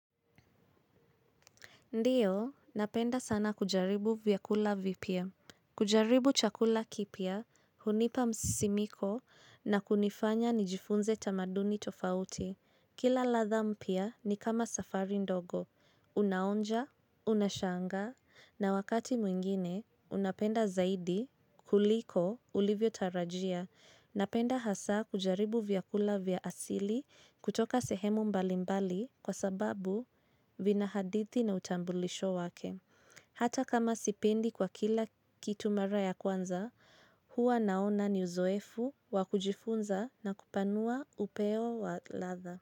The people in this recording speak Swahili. Ndiyo, napenda sana kujaribu vyakula vipya. Kujaribu chakula kipya, hunipa msisimiko na kunifanya nijifunze tamaduni tofauti. Kila ladha mpya ni kama safari ndogo. Unaonja, unashangaa, na wakati mwingine, unapenda zaidi, kuliko, ulivyotarajia. Napenda hasa kujaribu vyakula vya asili kutoka sehemu mbali mbali kwa sababu vina hadithi na utambulisho wake. Hata kama sipendi kwa kila kitu mara ya kwanza, huwa naona ni uzoefu wa kujifunza na kupanua upeo wa ladha.